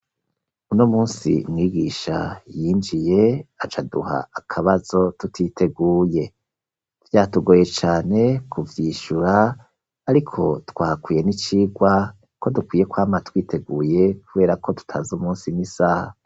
Uno munsi mwigisha yinjiye acaduha akabazo tutiteguye vyatugoye cane ku vyishyura ariko twahakuye n'icirwa ko dukwiye kwama twiteguye kubera ko tutazi umunsi n'isaha.